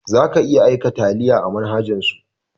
Za ka iya aika taliya a manhajan su